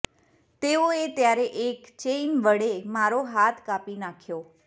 તેઓએ ત્યારે એક ચેઈન વડે મારો હાથ કાપી નાખ્યો